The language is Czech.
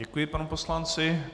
Děkuji panu poslanci.